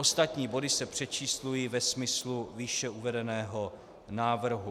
Ostatní body se přečíslují ve smyslu výše uvedeného návrhu.